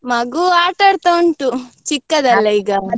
ಮಗು ಆಟಾಡ್ತಾ ಉಂಟು .